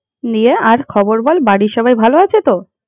নিয়ে আর খবর বল বাড়ির সবাই ভালো আসছে তো?